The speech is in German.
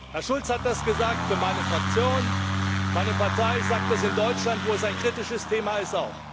Herr Schulz hat das für meine Fraktion gesagt, meine Partei sagt das auch in Deutschland, wo es ein kritisches Thema ist.